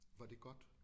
Var det godt?